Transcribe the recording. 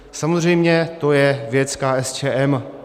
Samozřejmě to je věc KSČM.